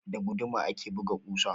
Da guduma ake buga ƙusa.